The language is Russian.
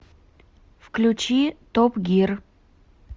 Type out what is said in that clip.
включи топ гир